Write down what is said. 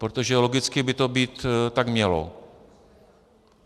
Protože logicky by to tak být mělo.